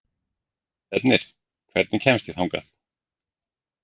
Stefnir, hvernig kemst ég þangað?